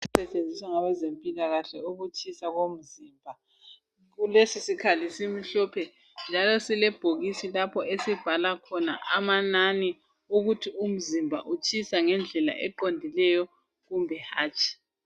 Isikhali esisetshenziswa ngabezempilakahle ukuhlola ukutshisa komzimba lesi sikhali simhlophe njalo sile bhokisi lapho esibhala khona amanani ukuthi umzimba utshisa ngendlela eqondileyo kumbe hatshi.